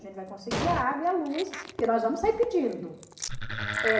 A gente vai conseguir a água e a luz, porque nós vamos sair pedindo. Eh